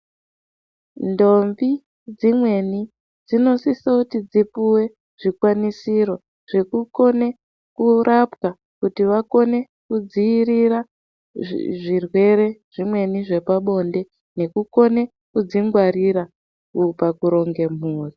Ndombi dzimweni dzinosiso kuti dzipuwe zvikwanisiro zvekukone kurapwa kuti vakone kudziiriraa zvirwere zvimweni zvepabonde, nekukona kudzingwarira pakuronge mhuri.